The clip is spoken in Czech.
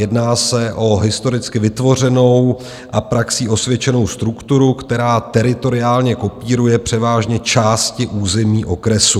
Jedná se o historicky vytvořenou a praxí osvědčenou strukturu, která teritoriálně kopíruje převážně části území okresu.